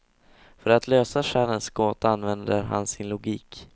För att lösa själens gåta använder han sin logik.